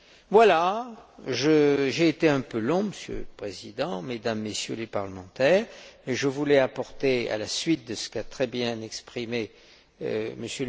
Voilà, j'ai été un peu long, Monsieur le Président, Mesdames et Messieurs les parlementaires, mais je voulais souligner, à la suite de ce qu'a très bien exprimé